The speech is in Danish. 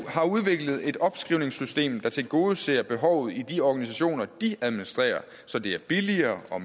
har udviklet et opskrivningssystem der tilgodeser behovet i de organisationer de administrerer så det er billigere og